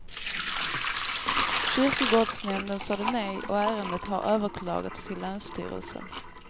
Kyrkogårdsnämnden sade nej och ärendet har överklagats till länsstyrelsen.